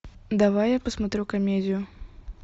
давай я посмотрю комедию